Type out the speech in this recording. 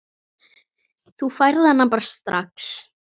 Þú færð hana bara strax.